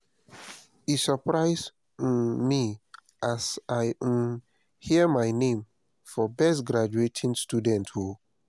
e surprise um me as i um hear my name for best um graduating student o